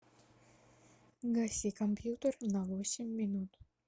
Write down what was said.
гаси компьютер на восемь минут